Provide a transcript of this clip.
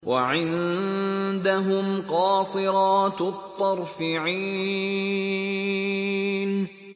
وَعِندَهُمْ قَاصِرَاتُ الطَّرْفِ عِينٌ